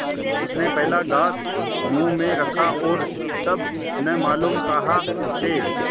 उसने पहला ग्रास मुँह में रखा और तब न मालूम कहाँ से